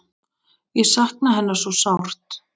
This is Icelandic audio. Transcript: Ég sakna hennar svo sárt.